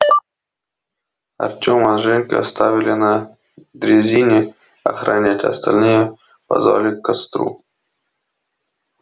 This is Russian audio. артёма с женькой оставили на дрезине охранять а остальные позвали к костру